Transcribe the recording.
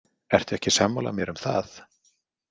Ertu ekki sammála mér um það?